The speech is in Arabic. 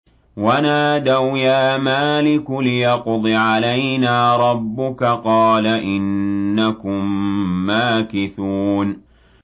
وَنَادَوْا يَا مَالِكُ لِيَقْضِ عَلَيْنَا رَبُّكَ ۖ قَالَ إِنَّكُم مَّاكِثُونَ